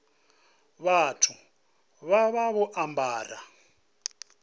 vhathu vha vha vho ambara